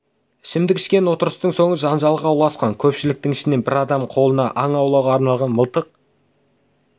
ішімдік ішкен отырыстың соңы жанжалға ұласқан көпшіліктің ішінен бір адам қолына аң аулауға арналған мылтық